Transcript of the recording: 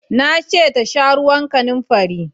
Na ce ta sha ruwan kanamfari!